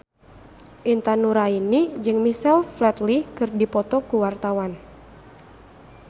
Intan Nuraini jeung Michael Flatley keur dipoto ku wartawan